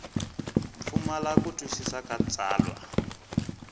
pfumala ku twisisa ka tsalwa